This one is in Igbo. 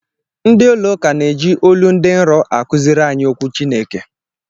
Ndị ụlọụka na-eji olu dị nrọ akụziri anyị okwu Chineke